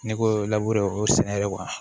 N'i ko labure o sɛnɛ yɛrɛ